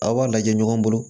Aw b'a lajɛ ɲɔgɔn bolo